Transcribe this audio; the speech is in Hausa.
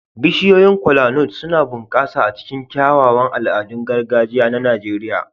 Bishiyoyin Kola-nut suna bunƙasa a cikin kyawawan al'adun gargajiya na Najeriya.